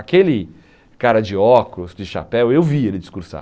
Aquele cara de óculos, de chapéu, eu vi ele discursar.